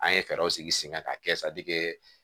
An ye fɛɛrɛw sigi sen kan ka kɛ